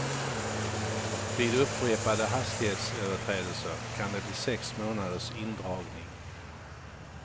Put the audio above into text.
Vid upprepade hastighetsöverträdelser kan det bli sex månaders indragning.